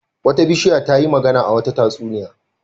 Wata bishiya ta yi magana a wata tatsuniya.